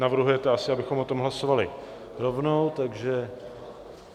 Navrhujete asi, abychom o tom hlasovali rovnou, takže...